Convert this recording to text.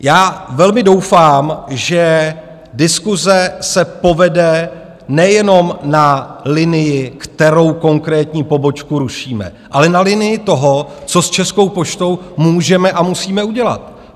Já velmi doufám, že diskuse se povede nejenom na linii, kterou konkrétní pobočku rušíme, ale na linii toho, co s Českou poštou můžeme a musíme udělat.